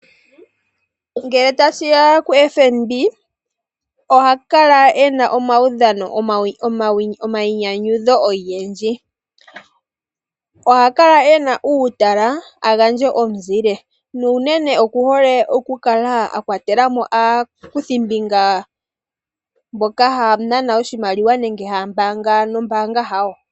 Ngele tashiya kuFNB, oha kala ena omaudhano gomainyanyudho ogendji. Oha kala ena uutala, a gandje omuzile. Na unene oku hole okukala a kwatelamo aakuthimbinga mboka haa nana oshimaliwa, nenge haa pungula nombaanga yawo.